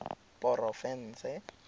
porofense